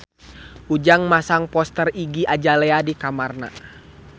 Ujang masang poster Iggy Azalea di kamarna